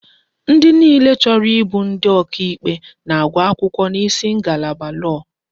Ndi niile chọrọ ịbụ ndi ọkà ikpe na-agụ akwụkwọ n'isi ngalaba lọọ.